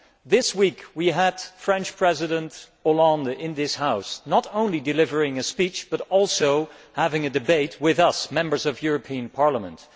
This week we had the French President Mr Hollande in this House, not only delivering a speech but also having a debate with us, the Members of the European Parliament.